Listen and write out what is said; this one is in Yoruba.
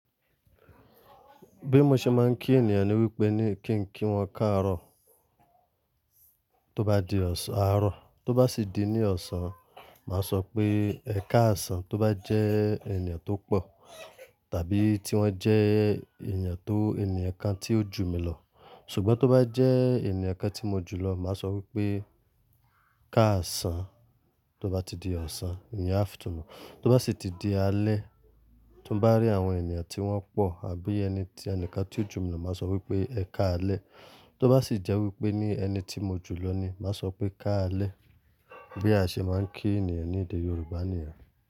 Bí mo ṣe máa ń kí ènìyàn ni wípé ní kí ń kí wọn káàárọ̀ tó bá di ọ̀sán, àárọ̀ tó bá sì di ní ọ̀sán, màá sọ pé "Ẹ káàsán" tó bá jẹ́ ènìyàn tó pọ̀ tàbí tí wọ́n jẹ́ ènìyàn tó, ènìyàn kan tí ó jù mi lọ. Ṣùgbọ́n tó bá jẹ́ ènìyàn kan tí mo jù lọ, màá sọ wípé káàsán tó bá ti di ọ̀sán, in the afternoon. Tó bá sì ti di alẹ́, timo bá rí àwọn ènìyàn tí wọ́n pọ̀ àbí ẹni tí ẹnìkan tí ó jù mi lọ, màá sọ wípé "Ẹ káalẹ́". Tó bá sì jẹ́ wípé ní ẹni tí mo jù lọ ni, màá sọ pé "káalẹ́". Bí a ṣe máa ń kí ènìyàn ní èdè Yorùbá niyen.